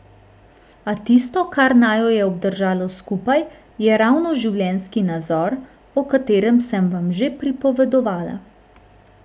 A tisto, kar naju je obdržalo skupaj, je ravno življenjski nazor, o katerem sem vam že pripovedovala.